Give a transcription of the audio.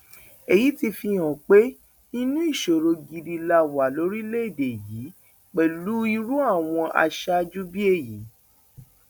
èyí ti fihàn pé inú ìṣòro gidi la wà lórílẹèdè yìí pẹlú irú àwọn aṣáájú bíi èyí